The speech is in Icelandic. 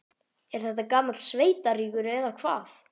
Er þetta gamall sveitarígur, eða hvað?